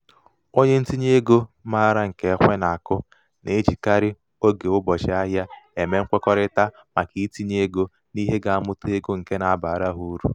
onye ntinyeego um maara nke ekwe na-akụ na-ejikarị oge ụbọchị-ahịa eme nkwekọrịta maka itinye ego n'ihe ga-amụta ego nke na-abara ha uru.